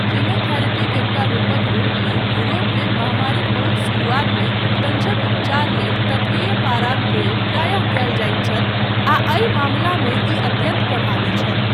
कीमोथेरेपीक एकटा रूपक रूपमे यूरोपमे महामारीक बहुत शुरुआतमे उपदंशक उपचार लेल तत्वीय पाराक प्रयोग प्रायः कयल जाइत छल, आ एहि मामिलामे ई अत्यन्त प्रभावी छल।